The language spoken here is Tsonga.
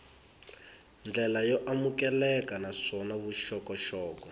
ndlela yo amukeleka naswona vuxokoxoko